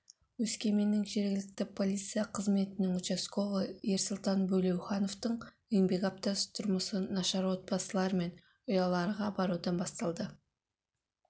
өскеменнің жергілікті полиция қызметінің участковыйы ерсұлтан бөлеухановтың еңбек аптасы тұрмысы нашар отбасылар мен ұяларға барудан басталады